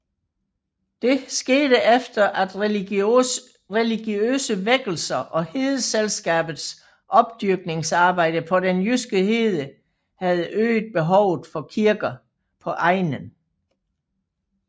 Det skete efter at religiøse vækkelser og Hedeselskabets opdyrkningsarbejde på den jyske hede havde øget behovet for kirker på egnen